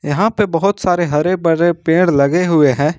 यहां पे बहोत सारे हरे भरे पेड़ लगे हुए हैं।